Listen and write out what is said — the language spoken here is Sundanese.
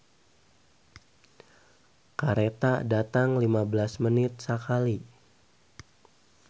"Kareta datang lima belas menit sakali"